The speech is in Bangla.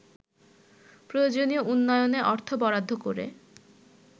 প্রয়োজনীয় উন্নয়নে অর্থ বরাদ্দ করে